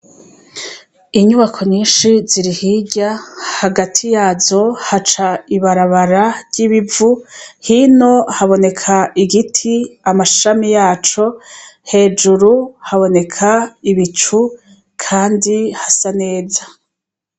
Inyubako nyinshi ziri hirya hagati yazo haca ibarabara ry'ibivu hino haboneka igiti amashami yaco hejuru haboneka ibicu, kandi hasa neza.